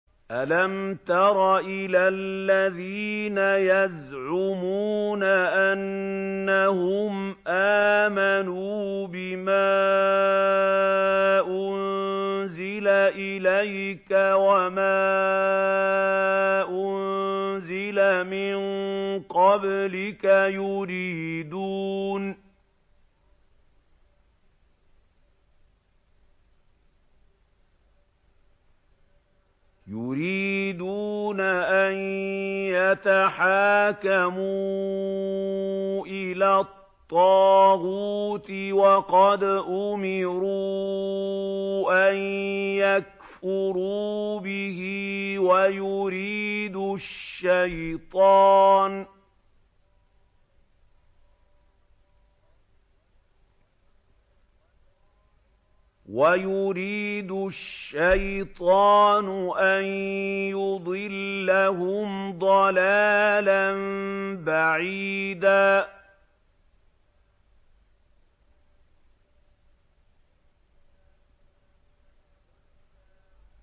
أَلَمْ تَرَ إِلَى الَّذِينَ يَزْعُمُونَ أَنَّهُمْ آمَنُوا بِمَا أُنزِلَ إِلَيْكَ وَمَا أُنزِلَ مِن قَبْلِكَ يُرِيدُونَ أَن يَتَحَاكَمُوا إِلَى الطَّاغُوتِ وَقَدْ أُمِرُوا أَن يَكْفُرُوا بِهِ وَيُرِيدُ الشَّيْطَانُ أَن يُضِلَّهُمْ ضَلَالًا بَعِيدًا